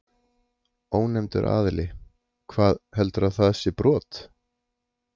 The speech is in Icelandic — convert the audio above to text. Ónefndur aðili: Hvað, heldurðu að það sé brot?